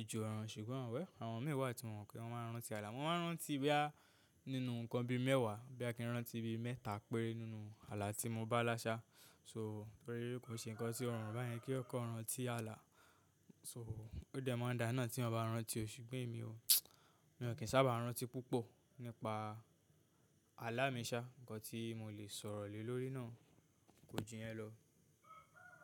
ojú ọ̀run, ṣùgbọ́n àwọn mìí wà tí mo mo pe wọ́n máa n rántí ààlà, mo máa n rántí boyà nínú nǹkan bi mẹ́wàá, boyà kí n rántí bi mẹ́ta péré nínú ààlà tí mo bá là ṣà. So torí kò ṣe nǹkan tí ó rọrùn báyẹn kí eeyan kan rántí ààlà. So ó dẹ̀ máa ń da ná tí eeyan bá rántí o, ṣùgbọ́n èmi o. Mi ò kí ń sábà rántí púpọ̀ nípa ààlà mi sá, nǹkan tí mo lè sọ̀rọ̀ lé lórí nu kò jù yẹn lọ.